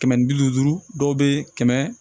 Kɛmɛ ni bi duuru duuru dɔw be kɛmɛ